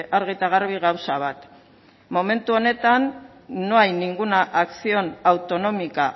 argi eta garbi gauza bat momentu honetan no hay ninguna acción autonómica